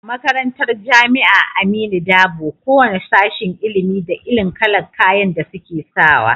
A makarantar jamia aminu dabo, ko wane sashen ilimin da irin kalar kayan da suke sawa